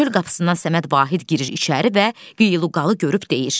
Çöl qapısından Səməd Vahid girir içəri və qıyqalını görüb deyir.